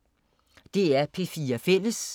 DR P4 Fælles